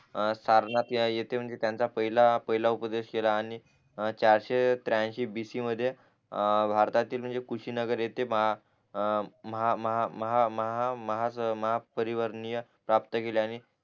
सारणात येत म्हणजे त्याचा पहिला पहिला उपदेश केला आणि चारशे त्र्यांशी बिशी मद्ये अं भारतातील म्हणजे कुशी नगर येथे अं महा महा महा महा महापरिवर्ण प्राप्त केले आणि